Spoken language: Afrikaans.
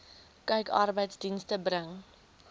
kyk arbeidsdienste bring